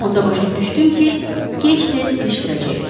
Onda başa düşdüm ki, gec-tez ilişdirəcəklər.